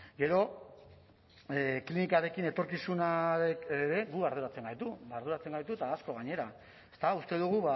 gero klinikarekin etorkizunak ere gu arduratzen gaitu arduratzen gaitu eta asko gainera eta uste dugu